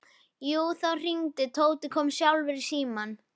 Jú, það hringdi og Tóti kom sjálfur í símann.